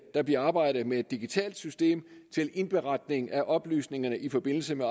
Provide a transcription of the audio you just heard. der bliver arbejdet med et digitalt system til indberetning af oplysningerne i forbindelse med